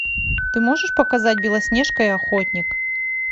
ты можешь показать белоснежка и охотник